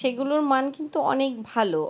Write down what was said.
সেগুলোর মান কিন্তু অনেক ভালো,